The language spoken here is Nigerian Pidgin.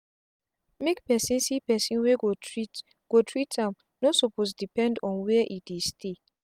make person see person wey go treat go treat am no suppose depend on where e dey stay